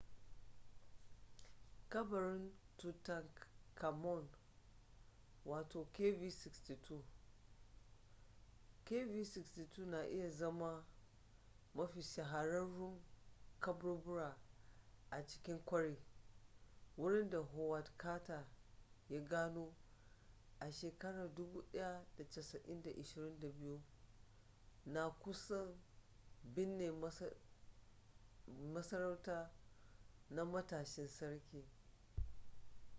kabarin tutankhamun kv62. kv62 na iya zama mafi shahararrun kaburbura a cikin kwari wurin da howard carter ya gano 1922 na kusan binne masarauta na matashin sarki